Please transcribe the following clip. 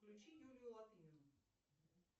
включи юлию латынину